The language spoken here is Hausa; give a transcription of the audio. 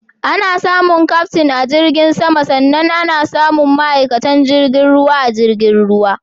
Ana samun Kyaftin a jirgin sama sannan ana samun ma'aikatan jirgin ruwa a jirgin ruwa.